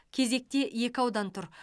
кезекте екі аудан тұр